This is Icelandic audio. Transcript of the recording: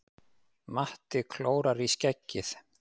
Matti klórar í skeggið.